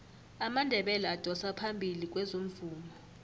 amandebele adosa phambili kwezomvumo